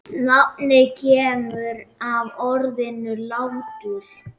Nafnið kemur af orðinu látur.